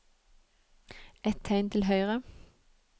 Ett tegn til høyre